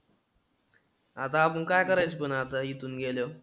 आता अजून काय करायचं पण आता इथून गेल्यावर?